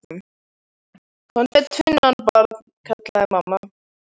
Komdu með tvinnann, barn, kallaði mamma.